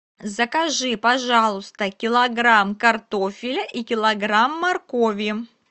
закажи пожалуйста килограмм картофеля и килограмм моркови